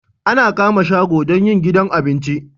Ana kama shago don yin gidan abinci